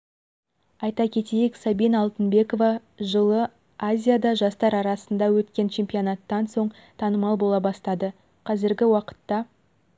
айта кетейік сабина алтынбекова жылы азияда жастар арасында өткен чемпионаттан соң танымал бола бастады қазіргі уақытта